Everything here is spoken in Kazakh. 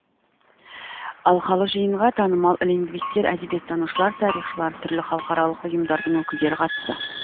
алқалы жиынға танымал лингвистер әдебиеттанушылар тарихшылар түрлі халықаралық ұйымдардың өкілдері қатысты